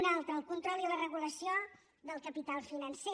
una altra el control i la regulació del capital financer